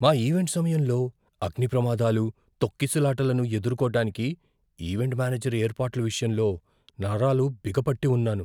మా ఈవెంట్ సమయంలో అగ్నిప్రమాదాలు, తొక్కిసలాటలను ఎదుర్కోటానికి ఈవెంట్ మేనేజర్ ఏర్పాట్ల విషయంలో నరాలు బిగపట్టి ఉన్నారు.